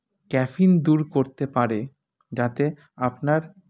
caffeine দূর করতে পারে যাতে আপনার